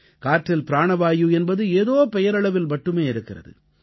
காற்றில் பிராணவாயு என்பது ஏதோ பெயரளவில் மட்டுமே இருக்கிறது